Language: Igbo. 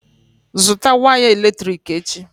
Zụtà waya eletrik echi!